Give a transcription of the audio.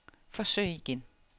forsøg igen